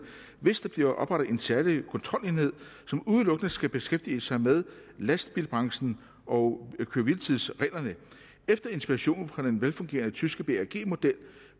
hvis der bliver oprettet en særlig kontrolenhed som udelukkende skal beskæftige sig med lastbilbranchen og køre hvile tids reglerne efter inspiration fra den velfungerende tyske bag model